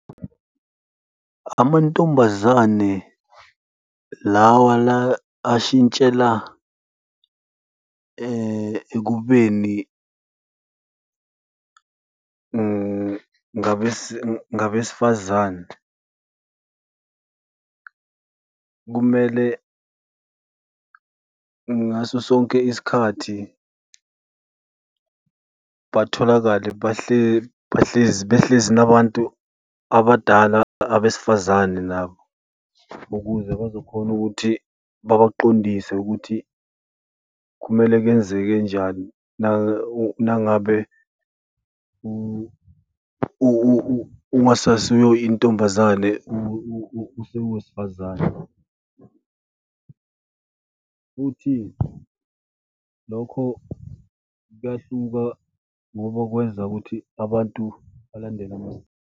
Amantombazane lawa la ashintshela ekubeni ngabesifazane kumele ngaso sonke isikhathi batholakale bahlezi behlezi nabantu abadala abesifazane nabo ukuze bazokhona ukuthi babaqondise ukuthi kumele kwenzekenjani nangabe ungasasiyo intombazane, usungowesifazane futhi lokho kuyahluka ngoba kwenza ukuthi abantu balandele .